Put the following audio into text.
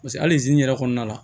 Paseke hali zen yɛrɛ kɔnɔna la